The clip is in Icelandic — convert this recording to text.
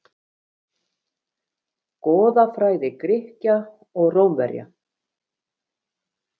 Goðafræði Grikkja og Rómverja.